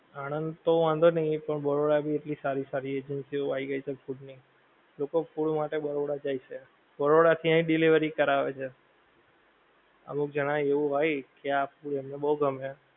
આનંદ તો વાંધો નહીં પણ બરોડા ભી એટલી સારી સારી એજન્સી ઓ આવી ગઈ છે ફૂડ ની, લોકો ફૂડ માટે બરોડા જાએ છે, બરોડા થી અહીં ડિલેવરી કરાવે છે, અમુક જાણ એવું હોએ કે આ ફૂડ એમને બહું ગમે